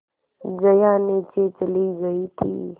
जया नीचे चली गई थी